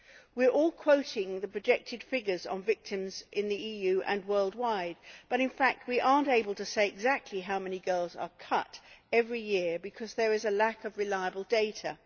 We are all quoting the projected figures on victims in the EU and worldwide, but in fact we are not able to say exactly how many girls are cut every year because there is a lack of reliable data.